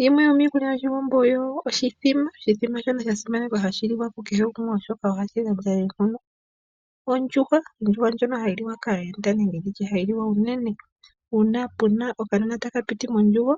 Yimwe yomiikulya yoshiwambo oyo oshimbombo, osha simanekwa oshoka ohashi gandja oonkondo, ondjuhwa ohayi liwa kaayenda nenge haliwa unene uuna pe na okanona taka piti mondjugo,